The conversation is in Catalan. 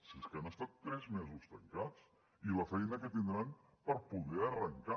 si és que han estat tres mesos tancats i la feina que tindran per poder arrencar